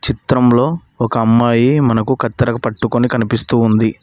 చిత్రంలో ఒక అమ్మాయి మనకు కత్తెరకు పట్టుకుని కనిపిస్తూ ఉంది.